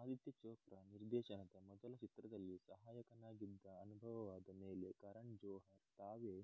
ಆದಿತ್ಯ ಚೋಪ್ರಾ ನಿರ್ದೇಶನದ ಮೊದಲ ಚಿತ್ರದಲ್ಲಿ ಸಹಾಯಕನಾಗಿದ್ದ ಅನುಭವವಾದ ಮೇಲೆ ಕರನ್ ಜೋಹರ್ ತಾವೇ